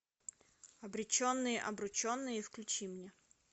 обреченные обрученные включи мне